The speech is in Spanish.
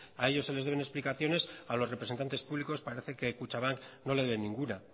a ellos se les deben explicaciones a los representantes públicos parece que kutxabank no le debe ninguna